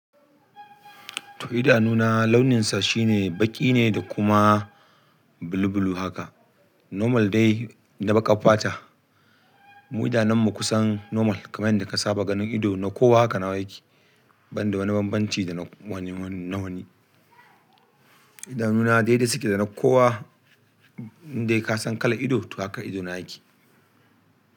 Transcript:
Toh idanuna launinsa shine baƙi ne da kuma blu blu haka. Normal dai na baƙar fata. Mu idanunmu kusan normal kamar yadda ka saba ganin ido na kowa haka nawa yake, ban da wani bambanci da na wani na wani. Idanuna dai dai suke da na kowa in dai ka san kalar ido toh haka idona yake.